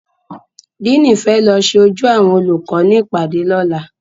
Díìnì fẹ́ lọ ṣe ojú àwọn olùkọ́ ní ìpàdé lọ́la